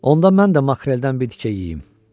Onda mən də makreldən bir tikə yeyim.